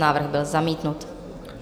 Návrh byl zamítnut.